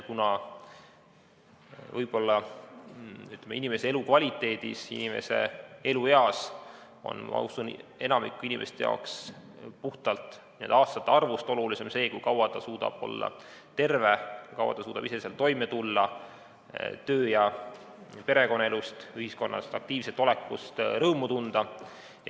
Rääkides inimese elukvaliteedist, inimese elueast, on enamiku inimeste jaoks puhtalt aastate arvust olulisem see, kui kaua ta suudab olla terve, kui kaua ta suudab iseseisvalt toime tulla, töö- ja perekonnaelust ning ühiskonnas aktiivne olekust rõõmu tunda.